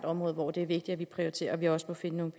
område hvor det er vigtigt at vi prioriterer og vi også må finde nogle